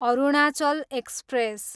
Arunachal express